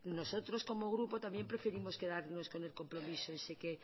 nosotros como grupo también preferimos quedarnos con el compromiso ese que